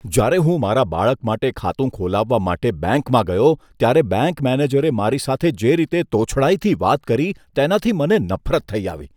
જ્યારે હું મારા બાળક માટે ખાતું ખોલાવવા માટે બેંકમાં ગયો ત્યારે બેંક મેનેજરે મારી સાથે જે રીતે તોછડાઈથી વાત કરી, તેનાથી મને નફરત થઇ આવી.